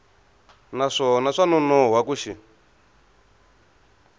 naswona swa nonoha ku xi